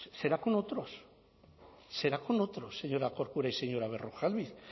será con otros será con otros señora corcuera y señora berrojalbiz